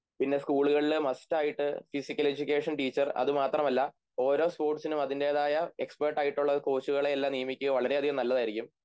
പിന്നെ സ്കൂളികളില് മസ്റ്റായിട്ട് ഫിസിക്കൽ എഡ്യൂക്കേഷൻ ടീച്ചർ അതുമാത്രമല്ല ഓരോ സ്പോർട്സിനും അതിൻ്റെതായ എക്സ്പെർട്ടായിട്ടുള്ള കോച്ചുകളേയെല്ലാം നിയമിക്കുക വളരെയധികം നല്ലതായിരിക്കും